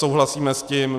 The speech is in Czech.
Souhlasíme s tím.